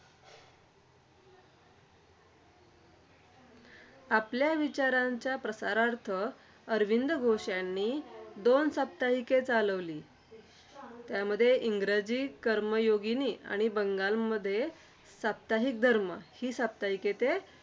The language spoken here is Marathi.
आपल्या विचारांच्या प्रसारार्थ अरविंद घोष यांनी दोन साप्ताहिके चालविली. त्यामध्ये इंग्रजीत कर्मयोगिनि आणि बंगालीमध्ये साप्ताहिक धर्म ही साप्ताहिके ते